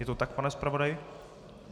Je to tak, pane zpravodaji?